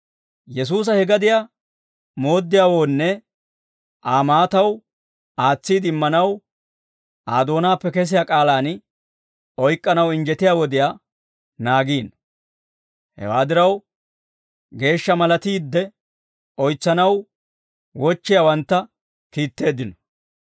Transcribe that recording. Yesuusa, he gadiyaa mooddiyawoonne Aa maataw aatsiide immanaw Aa doonaappe kesiyaa k'aalaan oyk'k'anaw injjetiyaa wodiyaa naagiino. Hewaa diraw geeshsha malatiidde oytsanaw wochchiyaawantta kiitteeddino.